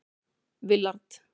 Willard